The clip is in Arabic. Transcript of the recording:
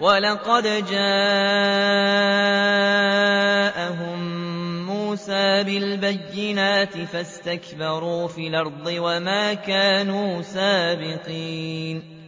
وَلَقَدْ جَاءَهُم مُّوسَىٰ بِالْبَيِّنَاتِ فَاسْتَكْبَرُوا فِي الْأَرْضِ وَمَا كَانُوا سَابِقِينَ